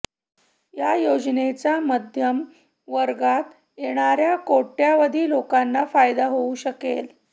या योजनेचा मध्यम वर्गात येणाऱ्या कोट्यावधी लोकांना फायदा होऊ शकेल